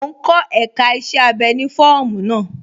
Mò n kọ èká iṣẹ̀ abẹ́ ni fọọmu naa.